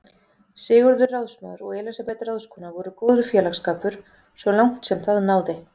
Sigurður ráðsmaður og Elísabet ráðskona voru góður félagsskapur svo langt sem það náði.